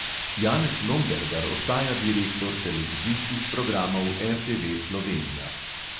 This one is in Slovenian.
Janez lombergar ostaja direktor televizijskih programov RTV slovenija.